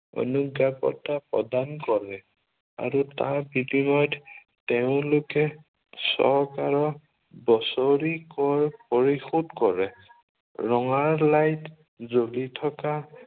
অনুজ্ঞাপত্ৰ প্ৰদান কৰে। আৰু তাৰ বিনিময়ত তেওঁলোকে চৰকাৰক বছৰি কৰ পৰিশোধ কৰে। ৰঙালাইট জ্বলি থকা